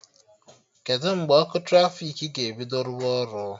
Kedụ mgbe ọkụ trafiki ga-ebido rụwa ọrụ?